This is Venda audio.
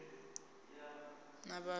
a muvend a a si